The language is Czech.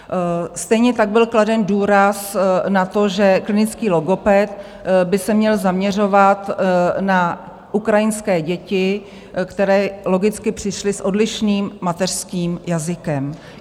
Stejně tak byl kladen důraz na to, že klinický logoped by se měl zaměřovat na ukrajinské děti, které logicky přišly s odlišným mateřským jazykem.